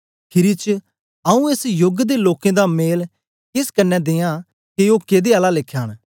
खीरी च आऊँ एस योग दे लोकें दा मेल केस कन्ने दियां के ओ केदै आला लेखा न